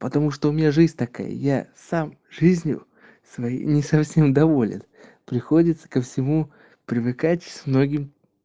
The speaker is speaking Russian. потому что у меня жизнь такая я сам жизнью своей не совсем доволен приходится ко всему привыкать с многим